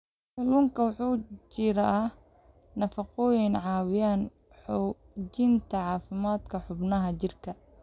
Kalluunka waxaa ku jira nafaqooyin caawiya xoojinta caafimaadka xubnaha jirka.